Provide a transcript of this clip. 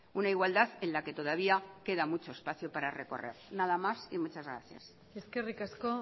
una igualdad en la que todavía queda muchos espacio para recorrer nada más y muchas gracias eskerrik asko